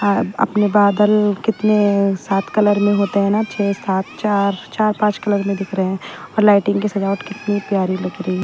अपने बादल कितने है सात कलर में होते हैं ना छह सात चार चार पांच कलर में दिख रहे हैं और लाइटिंग की सजावट कितनी प्यारी लगती है।